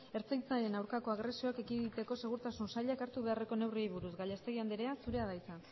ertzaintzaren aurkako agresioak ekiditeko segurtasun sailak hartu beharreko neurriei buruz gallastegui andrea zurea da hitza